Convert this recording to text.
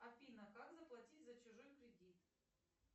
афина как заплатить за чужой кредит